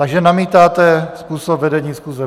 Takže namítáte způsob vedení schůze.